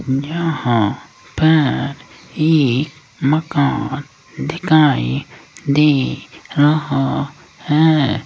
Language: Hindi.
यहां पर एक मकान दिखाई दे रहा है।